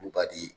Olu b'a di